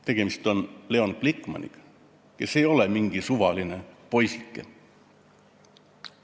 Tegemist oli Leon Glikmaniga, kes ei ole mingi suvaline poisike.